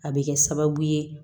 A bɛ kɛ sababu ye